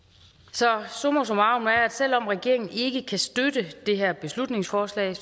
så summa summarum er at selv om regeringen ikke kan støtte det her beslutningsforslag